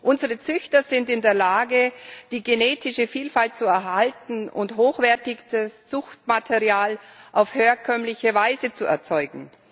Unsere Züchter sind in der Lage, die genetische Vielfalt zu erhalten und hochwertiges Zuchtmaterial auf herkömmliche Weise zu erzeugen.